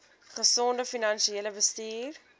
gesonde finansiële bestuur